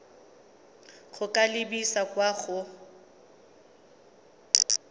go ka lebisa kwa go